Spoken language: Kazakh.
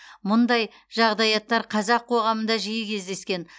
мұндай жағдаяттар қазақ қоғамында жиі кездескен